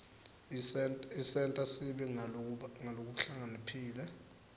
isenta sibe ngulabahlakaniphile